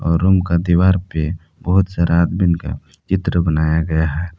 और रूम का दीवार पे बहुत सारे आदमी का चित्र बनाया हुआ है।